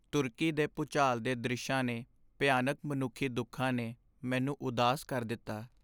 ਤੁਰਕੀ ਦੇ ਭੂਚਾਲ ਦੇ ਦ੍ਰਿਸ਼ਾਂ ਨੇ ਭਿਆਨਕ ਮਨੁੱਖੀ ਦੁੱਖਾਂ ਨੇ ਮੈਨੂੰ ਉਦਾਸ ਕਰ ਦਿੱਤਾ।